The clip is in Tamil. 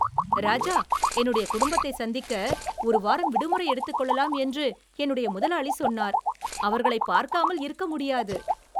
ராஜா, என்னுடைய குடும்பத்தை சந்திக்க ஒரு வாரம் விடுமுறை எடுத்துக் கொள்ளலாம் என்று என்னுடைய முதலாளி சொன்னார், அவர்களைப் பார்க்காமல் இருக்க முடியாது.